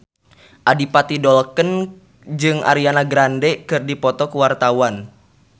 Adipati Dolken jeung Ariana Grande keur dipoto ku wartawan